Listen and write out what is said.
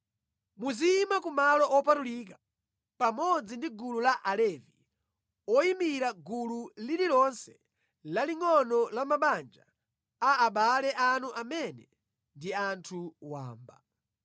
“Muziyima ku malo opatulika pamodzi ndi gulu la Alevi oyimira gulu lililonse lalingʼono la mabanja a abale anu amene ndi anthu wamba.